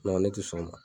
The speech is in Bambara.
ne tɛ sɔn o ma